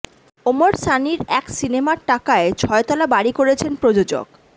ওমর সানির এক সিনেমার টাকায় ছয়তলা বাড়ি করেছেন প্রযোজক